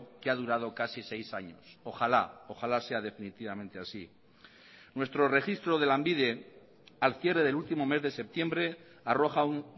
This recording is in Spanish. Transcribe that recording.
que ha durado casi seis años ojalá ojalá sea definitivamente así nuestro registro de lanbide al cierre del último mes de septiembre arroja un